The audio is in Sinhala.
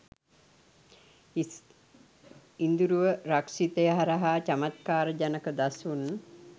ඉදුරුව රක්ෂිතය හරහා චමත්කාර ජනක දසුන්